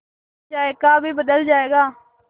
जायका भी बदल जाएगा